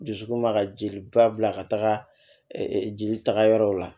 Dusukun ma ka jeli ba bila ka taga jeli taga yɔrɔw la